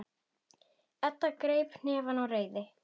Edda kreppir hnefana af reiði.